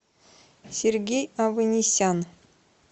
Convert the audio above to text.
сергей аванесян